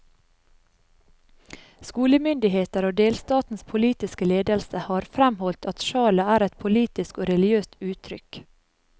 Skolemyndigheter og delstatens politiske ledelse har fremholdt at sjalet er et politisk og religiøst uttrykk.